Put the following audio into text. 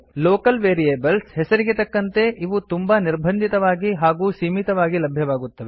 local variables ಹೆಸರಿಗೆ ತಕ್ಕಂತೆ ಇವು ತುಂಬಾ ನಿರ್ಬಂಧಿತವಾಗಿ ಹಾಗೂ ಸೀಮಿತವಾಗಿ ಲಭ್ಯವಾಗುತ್ತವೆ